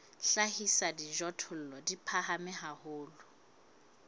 hlahisa dijothollo di phahame haholo